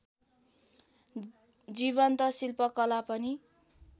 जीवन्त शिल्पकला पनि